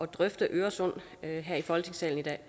drøfte øresund her i folketingssalen